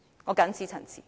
我謹此陳辭。